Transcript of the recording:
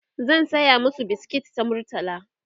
zan saya masu biskit ta murtala